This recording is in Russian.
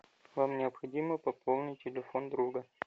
вам необходимо пополнить телефон друга